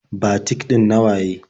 Batik ɗin na waye?